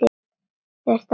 Þurftum að passa okkur.